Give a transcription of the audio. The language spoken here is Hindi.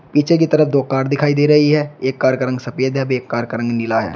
पीछे की तरफ दो कार दिखाई दे रही है एक कार का रंग सफेद है एक कार का रंग नीला है।